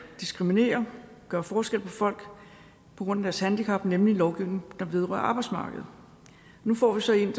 diskriminere og gøre forskel på folk på grund af deres handicap nemlig lovgivningen der vedrører arbejdsmarkedet nu får vi så en